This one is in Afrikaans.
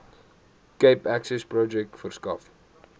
cape accessprojek verskaf